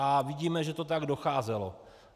A vidíme, že to tak docházelo.